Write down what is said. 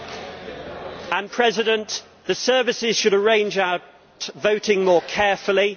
Mr President, the services should arrange our voting more carefully.